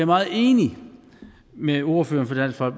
meget enig med ordføreren for